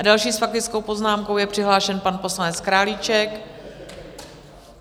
A další s faktickou poznámkou je přihlášen pan poslanec Králíček.